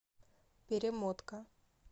перемотка